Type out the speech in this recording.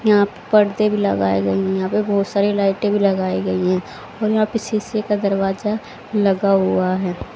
यहां पडदे भी लगाए गई। यहा पे बहोत सारी लाईटे भी लगाए गई है और यहा पे सीसे का दरवाजा लगा हुआ है।